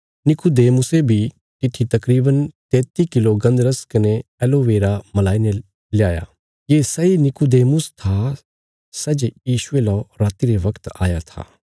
निकुदेमुसे बी तित्थी तकरीवन तेती किलो गन्धरस कने एलोवेरा मलाईने ल्या ये सैई नीकुदेमुस था सै जे यीशुये लौ राति रे बगत आया था